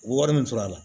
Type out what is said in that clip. U bɛ wari min sɔrɔ a la